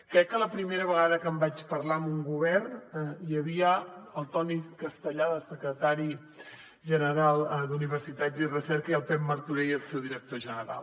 crec que la primera vegada que en vaig parlar amb un govern hi havia el toni castellà de secretari general d’universitats i recerca i el pep martorell el seu director general